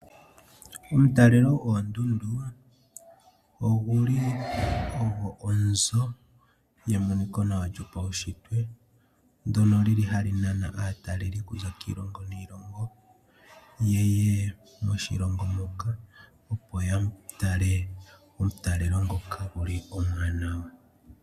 Omutalelo goondundu ogo onzo yemoniko nawa lyopaushitwe ndyono hali nana aatalelipo okuza kiilongo niilongo , yeye moshilongo muka opo ya tale omatalelo ngoka omawanawa.